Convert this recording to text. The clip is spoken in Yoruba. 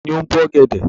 Ta ni ó ń bo ọ̀gẹ̀dẹ̀?